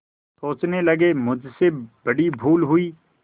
सोचने लगेमुझसे बड़ी भूल हुई